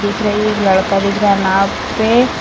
दिख रही है। एक लड़का दिख रहा है नाव पे।